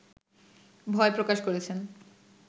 ভয় প্রকাশ করেছেন